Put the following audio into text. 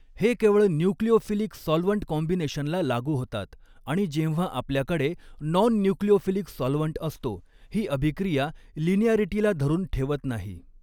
हे केवळ nucleophilic solvent कॉम्बिनेशनला लागू होतात आणि जेव्हा आपल्याकडे नॉन न्यूक्लिओफिलिक सॉल्व्हंट असतो ही अभिक्रिया लिनीॲरिटीला धरून ठेवत नाही.